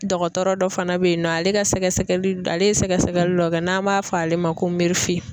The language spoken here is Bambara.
Dɔgɔtɔrɔ dɔ fana bɛ yen nɔ ale ka sɛgɛsɛgɛli ale ye sɛgɛsɛgɛli dɔ kɛ n'an b'a fɔ ale ma ko .